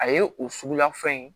A ye o suguya fɛn ye